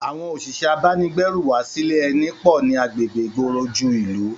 Àwọn òṣìṣẹ́ abánigbérù wá sílẹ eni pò ní agbègbè ìgboro ìlú ju